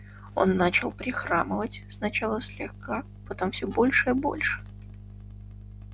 он начал прихрамывать сначала слегка потом всё больше и больше